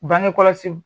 Bangekɔlɔsiw